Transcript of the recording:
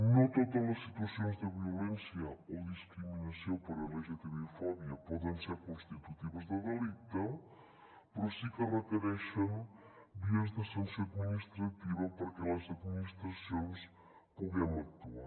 no totes les situacions de violència o discriminació per lgtbi fòbia poden ser constitutives de delicte però sí que es requereixen vies de sanció administrativa perquè les administracions puguem actuar